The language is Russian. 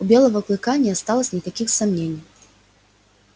у белого клыка не осталось никаких сомнений